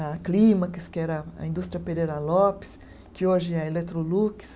A Clímax, que era a indústria Pereira Lopes, que hoje é a Eletrolux.